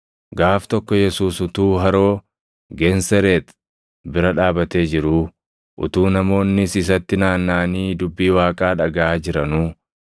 Gaaf tokko Yesuus utuu Haroo Geensereex bira dhaabatee jiruu, utuu namoonnis isatti naannaʼanii dubbii Waaqaa dhagaʼaa jiranuu,